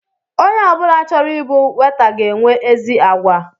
Onye ọbula chọrọ ịbụ weta ga enwe ezi àgwà